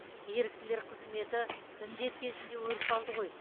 еріктілер қызметі індет кезінде өріс алды ғой